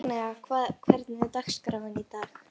Agnea, hvernig er dagskráin í dag?